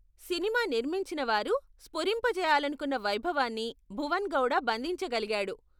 Cinema నిర్మించిన వారు స్ఫురింపజేయాలనుకున్న వైభవాన్ని భువన్ గౌడ బంధించగలిగాడు.